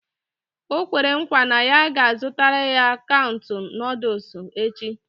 O kwere nkwa na ya ga-azụtara anyị katuun Nụ́dúls echi